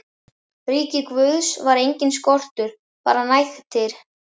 ríki Guðs var enginn skortur, bara nægtir.